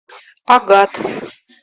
агат